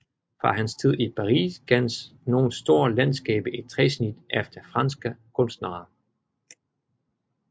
Fra hans tid i Paris kendes nogle store landskaber i træsnit efter franske kunstnere